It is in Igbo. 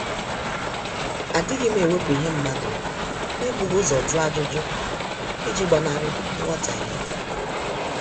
Adighim ewepu ihe mmadụ n'ebughi ụzọ jụọ ajụjụ, iji gbanari nghotahie